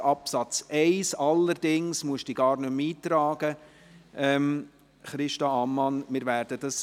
Es soll niemand etwa am Montag hier erscheinen;